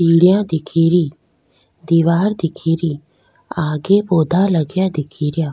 सीढियाँ दिखेरी दिवार दिखेरि आगे पोधा लगा दिखेरिआ।